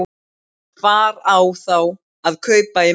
Hvar á þá að kaupa í matinn?